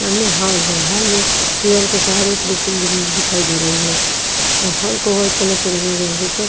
सामने हॉल है हॉल में दीवाल के सहारे एक मिशन बिंग बी दिखाई दे रहे है हाल को वाईट कलर से रंगा गया है ऊपर--